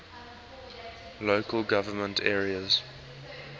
local government areas